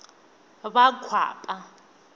vakwapa